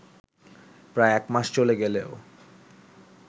প্রায় একমাস চলে গেলেও